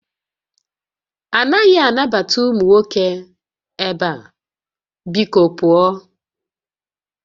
A naghị anabata ụmụ nwoke ebe a! Biko pụọ